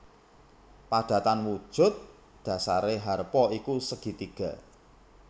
Padatan wujud dhasaré harpa iku segitiga